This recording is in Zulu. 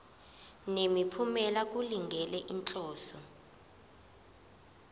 nemiphumela kulungele inhloso